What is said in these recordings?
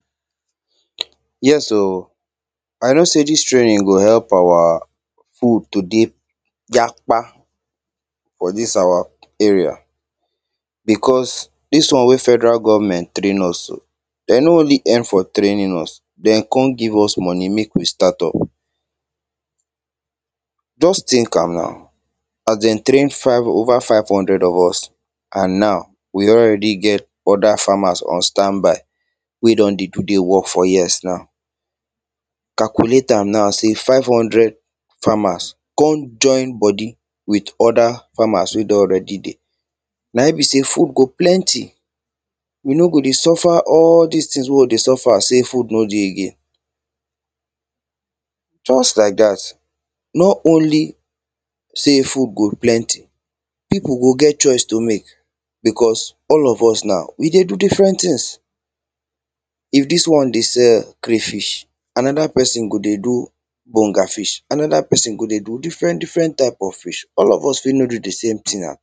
calculate am now say five hundred farmers come join body with other farmers wey don already dey, na e be say food go plenty. Yes o! I know say this training go help our food to dey yakpa for this our area because this one wey federal government train us so, them no only help for training us, them come give us money make we start up. Just think am na, as them train five, over five hundred of us, and now, we don already get other farmers on standby, wey don even dey work for years now, We no go dey suffer all these things wey we dey suffer say food no dey again. Just like that, nor only say, food go plenty, people go get choice to make, because all of us now, we dey do different things, if this one dey dey sell crayfish, another person go dey do bonga fish, another person go dey do different, different type of fish. All of us no fit do the same thing na.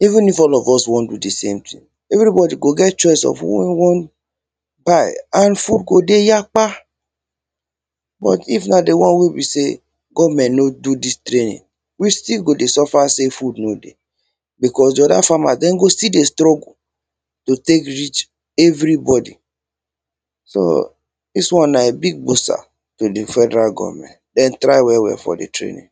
even if all of us wan do the same thing, everybody go get choice of what and wan buy and food go dey yakpa, but if na the one wey be say, government no do this training, we still go dey suffer say food no dey, because the other farmers, them go still dey struggle to take reach everybody, so, this one na big gbosa to the federal government, them try well, well for the training